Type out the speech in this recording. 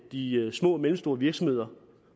de små og mellemstore virksomheder